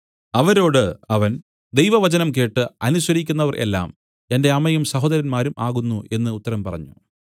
അവരോട് അവൻ ദൈവവചനം കേട്ട് അനുസരിക്കുന്നവർ എല്ലാം എന്റെ അമ്മയും സഹോദരന്മാരും ആകുന്നു എന്ന് ഉത്തരം പറഞ്ഞു